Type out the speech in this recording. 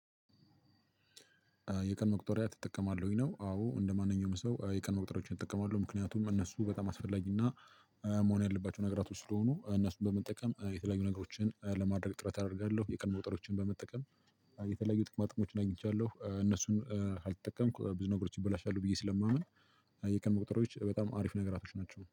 የቀን መቁጠሪያ ትጠቀማለ ወይ ነው? አዎ እንደማንኛውም ሰው የቀን መቁጠሪያዎችን እጠቀማለሁ ምክንያቱም እነሱ በጣም አስፈላጊና መሆን ያለባቸው ነገራቶች ስለሆኑ እነሱን በመጠቀም የተለያዩ ነገሮችን ለማድረግ ጥረት አደርጋለሁ። የቀን መቁጠሪያዎችን በመጠቀም የተለያዩ ጥቅማጥሞችን አግኝቻለሁ እነሱን ካልተጠቀምኩ ብዙ ነገሮች ይበላሻሉ ብዬ ስለማምን። የቀን መቁጠሪያዎች በጣም አሪፍ ነገራቶች ናቸው